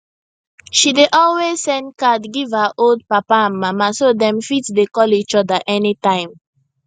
she dey always send card give her old papa and mama so dem fit dey call each oda any time